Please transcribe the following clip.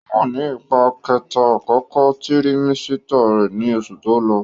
Ó wà nì ipá kẹta àkókò tirimẹ́sítà rẹ̀ ní oṣù tó lọ